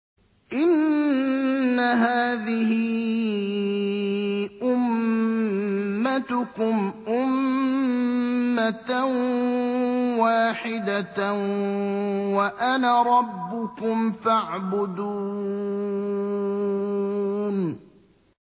إِنَّ هَٰذِهِ أُمَّتُكُمْ أُمَّةً وَاحِدَةً وَأَنَا رَبُّكُمْ فَاعْبُدُونِ